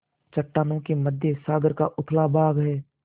चट्टानों के मध्य सागर का उथला भाग है